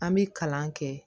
An bɛ kalan kɛ